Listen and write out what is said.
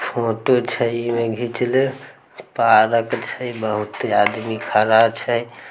Photo छै ई में घिचला पार्क छै बहुते आदमी खड़ा छै।